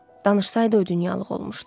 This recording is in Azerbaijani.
Danışsaydı, o dünyalıq olmuşdu.